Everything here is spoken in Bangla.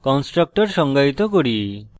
constructor সংজ্ঞায়িত করি